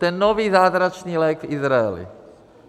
Ten nový zázračný lék v Izraeli.